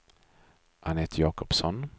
Annette Jakobsson